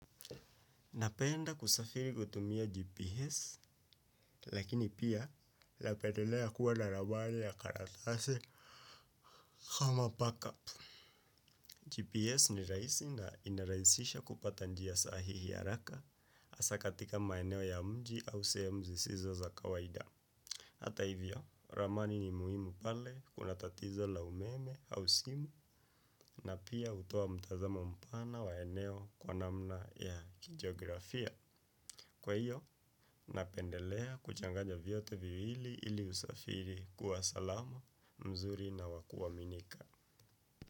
Napenda kusafiri kutumia GPS, lakini pia lapedelea kuwa narabale ya karatase kama pakapu. GPS ni raisi na inaraisisha kupata njia sahihi ya araka, asa katika maeneo ya mji au seemu sizoza za kawaida. Hata hivyo, ramani ni muhimu pale kuna tatizo la umeme au simu na pia utoa mtazama mpana wa eneo kwa namna ya kijografia. Kwa hiyo, napendelea kuchanganya vyote viwili ili usafiri kuwa salama, mzuri na wakuwa minika.